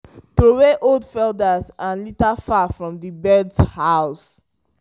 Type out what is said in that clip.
throway old feathers and litter far from the birds house.